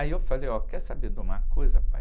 Aí eu falei, ó, quer saber de uma coisa, pai?